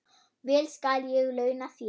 Vel skal ég launa þér.